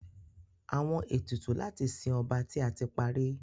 Awọn etutu lati sin ọba ti a ti pari